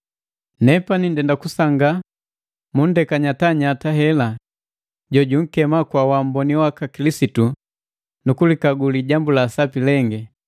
Nepani ndenda kusangaa mundeka nyatanyata, hela jojunkema kwa wamboni waka Kilisitu nu kujikagu lijambu la sapi lengi,